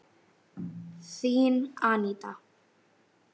Þín, Aníta.